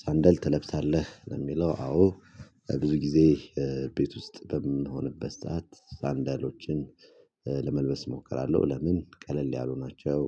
ሳንደል ትለብሳለህ ለሚለው? አዎ ብዙ ጊዜ ቤት ውስጥ በምንሆንበት ሰዓት ሳንዳሎችን ለመልበስ እሞክራለሁ ለምን ቀለል ያሉ ሆናቸው